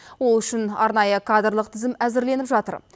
ол үшін арнайы кадрлық тізім әзірленіп жатыр